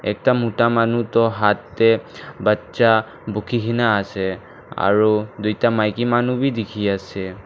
ekta muta manu toh hath teh baccha buki ke na ase aru duita maiki manu bhi dikhi ase.